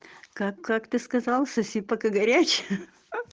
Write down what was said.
как как ты сказал соси пока горячая